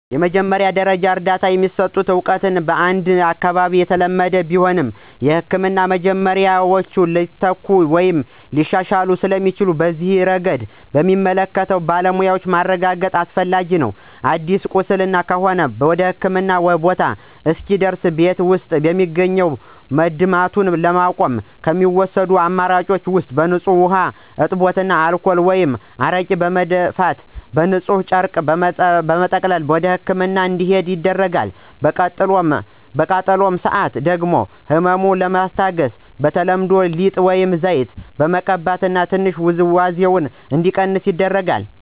የመጀመሪያ ደረጃ እርዳታ የሚሰጠው እውቀት በአንድ አካባቢ የተለመደ ቢሆንም፣ የሕክምና መመሪያዎች ሊተኩ ወይም ሊሻሻሉ ስለሚችሉ በዚህ ረገድ በሚመለከተው ባለሙያ ማረጋገጥ አስፈላጊ ነው። አዲስ ቁስል ከሆነ ወደህክምና ቦታ እስኪደርስ ቤት ውስጥ በሚገኝ መድማቱን ለማቋረጥ ከሚወሰዱ አማራጭ ውስጥ በንፁህ ውሃ አጥቦ አልኮል ወይም አረቄ በመድፋት በንፁህ ጨርቅ በመጠቅለል ወደህክምና እንዲሄድ ይደረጋል። በቃጠሎ ሰአት ደግሞ ህመሙን ለማስታገስ በተለምዶ ሊጥ፣ ዘይት በመቀባት ትንሽ ውዝዋዜው እንዲቀንስ ይደረጋል።